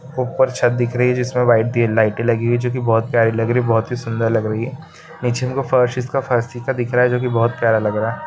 ऊपर छत दिख रही है जिसमे वाइट लाइटे लगी हुई है जो की बहुत प्यारी लग रही है बहुत ही सुंदर लग रही है निचे उनका फर्श इनका जो की बहुत प्यारा लग रहा है।